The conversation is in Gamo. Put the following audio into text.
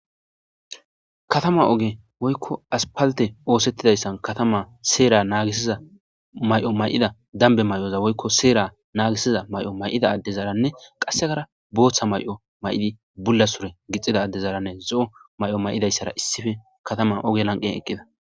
Katama oge woykko aspalte oosettidayssan katama seera naagisiza may7o may7ida dambe may7oza woykko seera naagisiza may7o may7ida adde zaaranne qassekara booththa may7o may7idi bulla sure gixida addezaaranne zo7o may7o may7idayssara issife katama oge lanqen eqqida.